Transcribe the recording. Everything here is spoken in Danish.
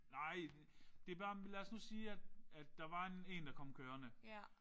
Nej det bare lad os nu sige at der var en der kom kørende